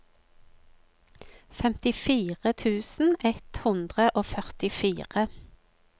femtifire tusen ett hundre og førtifire